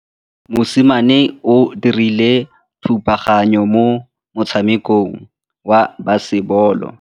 Mosimane o dirile thubaganyô mo motshamekong wa basebôlô.